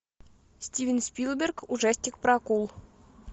стивен спилберг ужастик про акул